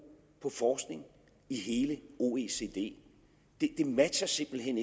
på forskning i hele oecd det matcher simpelt hen